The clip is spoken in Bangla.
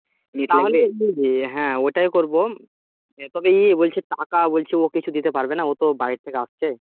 হ্যাঁ ওটাই করব তোকে বলছি কাকা বলছে ও কিছু দিতে পারবে না ও তো বাড়ি থেকে আসছে